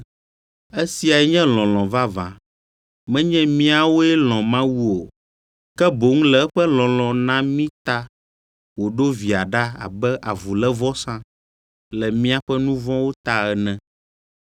Esiae nye lɔlɔ̃ vavã, menye míawoe lɔ̃ Mawu o, ke boŋ le eƒe lɔlɔ̃ na mí ta wòɖo Via ɖa abe avulévɔsa le míaƒe nu vɔ̃wo ta ene.